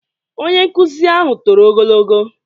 Onye nkuzi ahụ toro ogo?